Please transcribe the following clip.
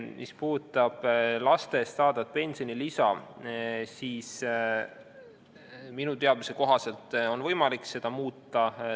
Mis puudutab laste eest saadavat pensionilisa, siis minu teadmise kohaselt on võimalik seda muuta.